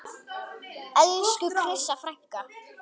Elsku Krissa frænka.